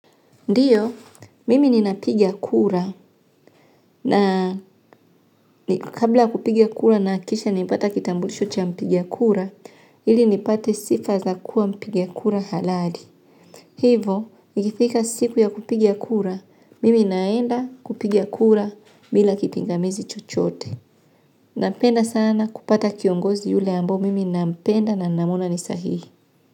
Ndiyo mimi napiga kura na kabla ya kupiga kura ninahakikisha nimepata kitambulisho cha mpiga kura ile nipate sifa ya kuwa mpiga kura halali. Hivo, ikifika siku ya kupiga kura, mimi naenda kupiga kura bila kipingamizi chochote. Napenda sana kupata kiongozi yule ambao mimi napenda na namwona ni sahihi.